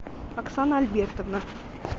оксана альбертовна